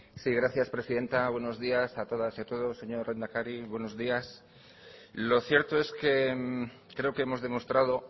sí gracias presidenta buenos días a todas y a todos señor lehendakari buenos días lo cierto es que creo que hemos demostrado